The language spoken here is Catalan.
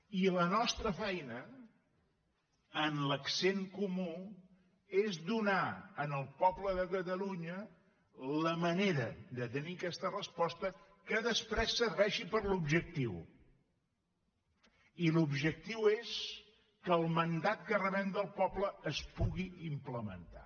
i la nostra feina en l’accent comú és donar al poble de catalunya la manera de tenir aquesta resposta que després serveixi per a l’objectiu i l’objectiu és que el mandat que rebem del poble es pugui implementar